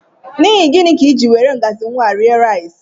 N'ihi gịnị ka I jị were ngaji nwa rie nri?